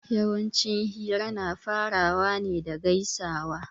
Yawanci hira na farawa ne da gaisuwa